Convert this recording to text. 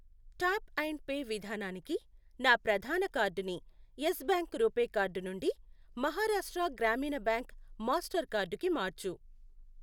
Tap and pay విధానానికి నా ప్రధాన కార్డుని యెస్ బ్యాంక్ రూపే కార్డు నుండి Maharashtra Gramin bank Mastercard కి మార్చు.